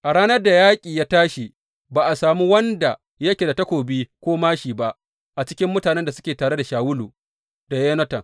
A ranar da yaƙi ya tashi, ba a sami wanda yake da takobi ko māshi ba a cikin mutanen da suke tare da Shawulu da Yonatan.